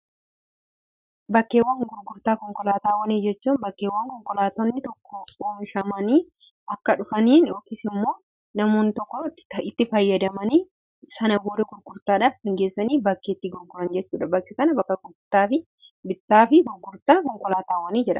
bakkeewwan gurgurtaa konkolaataawwanii jechuu bakkeewwan konkolaatonni tokko omishamanii akka dhufanii okis immoo namoon tokko itti fayyadamanii sana bori gurgurtaadhaaf hingeessanii bakkeetti gorkolan jechuudha bachu sana bakka bittaa fi gurgurtaa konkolaataawwanii jira